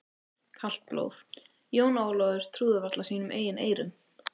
Kalt blóð, Jón Ólafur trúði varla sínum eigin eyrum.